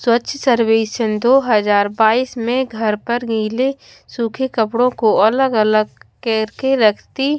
स्वच्छ सर्वेक्षण दो हजार बाइस में घर पर गीले सूखे कपड़ों को अलग अलग करके रखती--